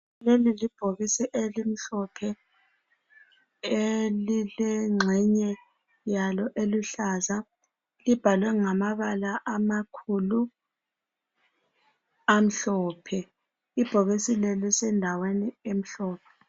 Leli libhokisi elimhlophe elilengxenye yalo eluhlaza libhalwe ngamabala amakhulu amhlophe ibhokisi leli lisendaweni emhlophe..